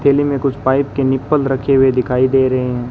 थैली मे कुछ पाइप के निप्पल रखे हुए दिखाई दे रहे है।